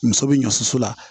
Muso bɛ ɲɔsusu la